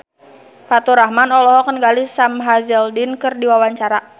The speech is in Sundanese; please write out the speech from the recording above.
Faturrahman olohok ningali Sam Hazeldine keur diwawancara